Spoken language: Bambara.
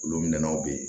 Olu minɛnw bɛ ye